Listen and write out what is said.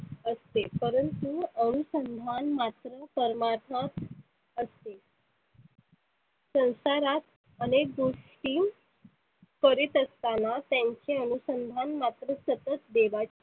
असते परंतु अनुसंधान मात्र मरमार्थक असते. संसारात अनेक गोष्टी करीत असताना त्यांचे अनुसंधान मात्र सतत देवाची